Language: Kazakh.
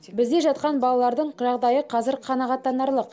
бізде жатқан балалардың жағдайы қазір қанағаттанарлық